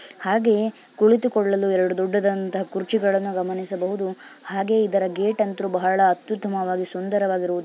ಹಾಗೆಯೇ ಕುಳಿತುಕೊಳ್ಳಲು ಎರಡು ದೊಡ್ಡದಾದಂತಹ ಕುರ್ಚಿಗಳನ್ನು ಗಮನಿಸಬಹುದು ಹಾಗೆ ಇದರ ಗೇಟ್ ಅಂತು ಬಹಳ ಅತ್ಯುತ್ತಮವಾಗಿ ಸುಂದರವಾಗಿರುವುದನ್ನು ಸಹ ಗಮನಿಸಬಹುದು.